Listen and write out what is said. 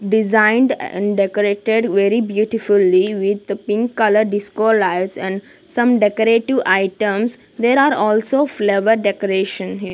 designed and decorated very beautifully with pink colour disco lights and some decorative items there are also flower decoration.